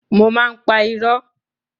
Mo máa ń pa irọ́.